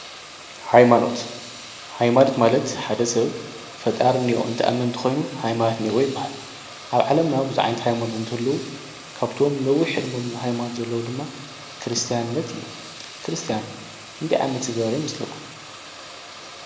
ሃይማኖት ማለት ሓደ ሰብ ፈጣሪ እኒሆ ኢሉ እንትኣምን እንተኮይኑ ሃይማኖት ኣለዎ ይበሃል። ኣብ ዓለምና ብዙሕ ሃይማኖታት እንትህልዉ ካብቶም ነዊሕ ዕደመ ዘለዎም ሃይማኖታትት ድማ ክርስታይነት እዩ። ክርስትያን ክንደይ ዓመት ዝገበረ ይመስለኩም?